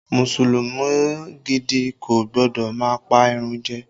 Mùsùlùmí gidi kò gbọ́dọ̀ má pa ìrun jẹ